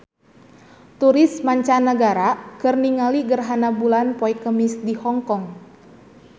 Turis mancanagara keur ningali gerhana bulan poe Kemis di Hong Kong